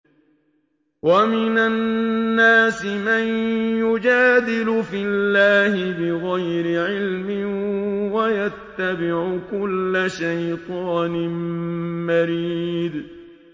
وَمِنَ النَّاسِ مَن يُجَادِلُ فِي اللَّهِ بِغَيْرِ عِلْمٍ وَيَتَّبِعُ كُلَّ شَيْطَانٍ مَّرِيدٍ